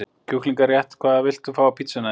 Kjúklinga rétt Hvað vilt þú fá á pizzuna þína?